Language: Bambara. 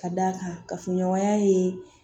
Ka d'a kan kafoɲɔgɔnya ye